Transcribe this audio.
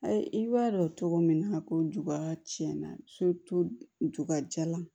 Ayi i b'a dɔn cogo min na ko juga tiɲɛ na ju ka ja la